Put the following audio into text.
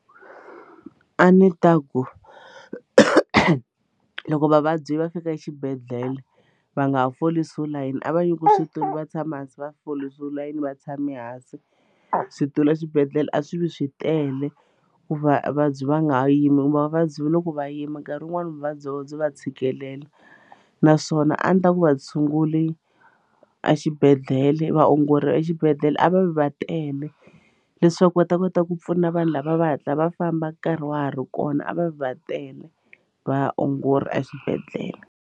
A ndzi ta ku loko vavabyi va fika exibedhlele va nga folisiwi layini a va nyikiwi switulu va tshama hansi va folisiwe layini va tshame hansi switulu exibedhlele a swi vi swi tele ku va vabyi va nga yimi kumbe vavabyi va loko va yima nkarhi wun'wani vuvabyi bya vona byi va tshikelela naswona a ndzi ta ku va tshunguli exibedhlele va ongori a exibedhlele a va vi va tele leswaku va ta kota ku pfuna vanhu lava va hatla va famba nkarhi wa ha ri kona a va vi va tele vaongori exibedhlele.